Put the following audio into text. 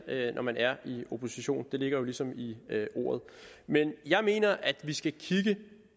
når man er i opposition det ligger jo ligesom i ordet men jeg mener at vi skal kigge